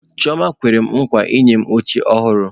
Chioma kwere nkwa inye m oche ọhụrụ.